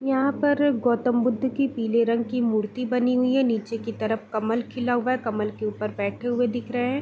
यहाँ पर गौतम बुद्ध की पीले रंग की मूर्ति बनी हुई है। नीचे के तरफ कमल खिला हुआ है। कमल के ऊपर बैठे हुए दिख रहे है।